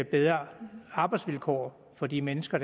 bedre arbejdsvilkår for de mennesker